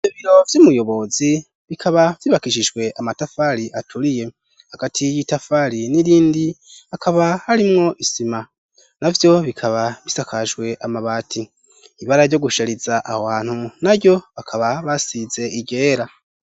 Ibiro vy'umuyobozi bikaba vyubakishijwe amatafari aturiye. Hagati y'itafari n'irindi hakaba harimwo isima; na vyo bikaba bisakajwe amabati. Ibara ryo gushariza ahantu na ryo bakaba basize iryera.